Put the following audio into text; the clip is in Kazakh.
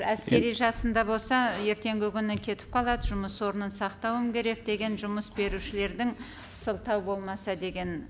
әскери жасында болса ертеңгі күні кетіп қалады жұмыс орнын сақатуым керек деген жұмыс берушілердің сылтау болмаса деген